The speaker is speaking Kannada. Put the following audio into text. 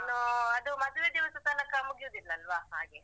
ಇನ್ನು ಅದು ಮದುವೆ ದಿವಸ ತನಕ ಮುಗಿಯುದಿಲ್ಲ ಅಲ್ವಾ? ಹಾಗೆ.